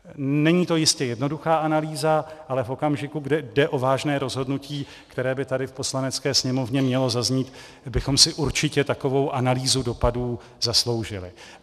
Není to jistě jednoduchá analýza, ale v okamžiku, kdy jde o vážné rozhodnutí, které by tady v Poslanecké sněmovně mělo zaznít, bychom si určitě takovou analýzu dopadů zasloužili.